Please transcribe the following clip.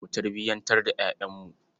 Mu tarbiyantar da ƴaƴanmu.